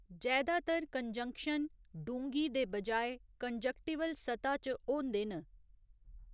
जैदातर कंजंक्शन डूंह्गी दे बजाए कंजंक्टिवल सतह च होंदे न।